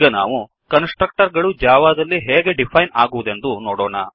ಈಗ ನಾವು constructor ಗಳು ಜಾವಾದಲ್ಲಿ ಹೇಗೆ ಡಿಫೈನ್ ಆಗುವುದೆಂದು ನೋಡೋಣ